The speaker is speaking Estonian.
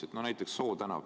Vaatame näiteks Soo tänavat.